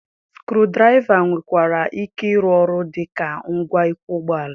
Skru draiva nwekwara ike ịrụ ọrụ dị ka ngwa ịkwọ ụgbọala